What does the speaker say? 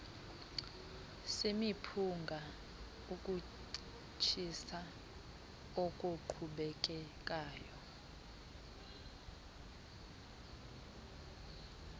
semiphunga ukutshisa okoqhubekekayo